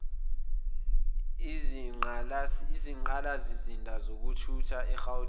izinqalasizinda zezokuthutha egauteng